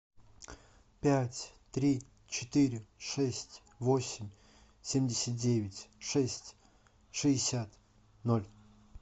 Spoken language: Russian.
пять три четыре шесть восемь семьдесят девять шесть шестьдесят ноль